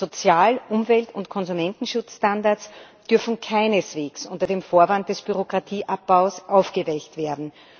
Sozial Umwelt und Konsumentenschutzstandards dürfen keineswegs unter dem Vorwand des Bürokratieabbaus aufgeweicht werden.